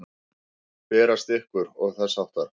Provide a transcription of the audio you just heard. Berast ykkur. og þess háttar?